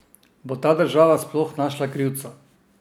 Bo ta država sploh našla krivca?